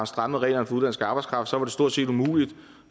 strammet reglerne for udenlandsk arbejdskraft så var det stort set umuligt